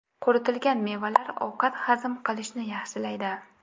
Quritilgan mevalar ovqat hazm qilishni yaxshilaydi.